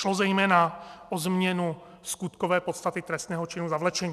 Šlo zejména o změnu skutkové podstaty trestného činu zavlečení.